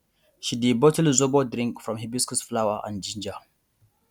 she dey bottle zobo drink from hibiscus flower and ginger